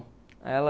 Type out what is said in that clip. Aí ela...